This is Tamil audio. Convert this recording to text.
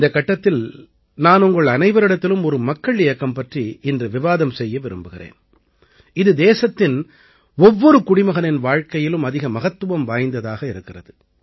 இந்தக் கட்டத்தில் தான் நான் உங்கள் அனைவரிடத்திலும் ஒரு மக்கள் இயக்கம் பற்றி இன்று விவாதம் செய்ய விரும்புகிறேன் இது தேசத்தின் ஒவ்வொரு குடிமகனின் வாழ்க்கையிலும் அதிக மகத்துவம் வாய்ந்ததாக இருக்கிறது